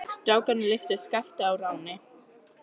Strákarnir lyftu Skapta á ránni.